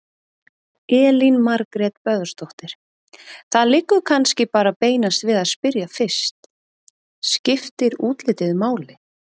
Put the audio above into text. Elín Margrét Böðvarsdóttir: Það liggur kannski bara beinast við að spyrja fyrst: Skiptir útlitið máli?